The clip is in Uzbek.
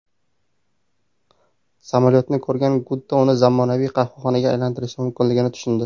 Samolyotni ko‘rgan Gutta uni zamonaviy qahvaxonaga aylantirishi mumkinligini tushundi.